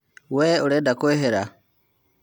Wee arenda kũehera.